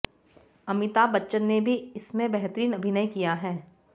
अमिताभ बच्चन ने भी इसमें बेहतरीन अभिनय किया है